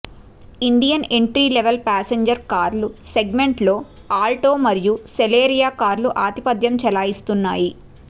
Indian entry level passenger కార్ల సెగ్మెంట్లో Alto మరియు సెలెరియో కార్లు ఆధిపత్యం చెలాయిస్తున్నాయి